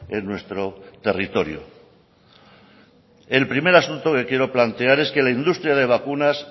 en nuestro territorio el primer asunto que quiero plantear es que la industria de vacunas